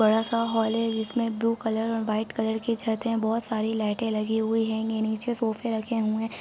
बड़ा सा हॉल है जिसमें ब्लू कलर और वाइट कलर की छत है बहुत सारी लाइटें लगी हुई है ये नीचे सोफ़े रखे हुए--